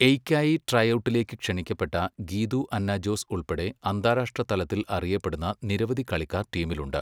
എയ്ക്കായി ട്രൈഔട്ടിലേക്ക് ക്ഷണിക്കപ്പെട്ട ഗീതു അന്ന ജോസ് ഉൾപ്പെടെ അന്താരാഷ്ട്ര തലത്തിൽ അറിയപ്പെടുന്ന നിരവധി കളിക്കാർ ടീമിലുണ്ട്.